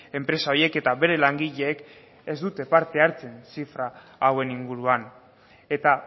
enpresa horiek eta bere langileek ez dute parte hartzen zifra hauen inguruan eta